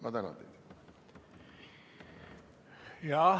Ma tänan teid!